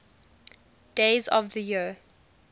days of the year